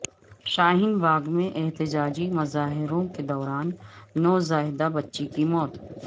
شاہین باغ میں احتجاجی مظاہروں کے دوران نوزائیدہ بچی کی موت